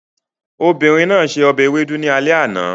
Obìnrin náà se ọbẹ̀ ewedu ní alẹ́ àná